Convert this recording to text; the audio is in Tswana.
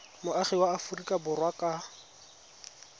moagi wa aforika borwa ka